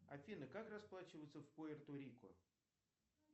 афина как расплачиваться в пуэрто рико